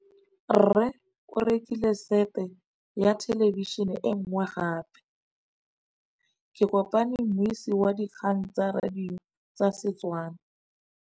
Rre o rekile sete ya thêlêbišênê e nngwe gape. Ke kopane mmuisi w dikgang tsa radio tsa Setswana.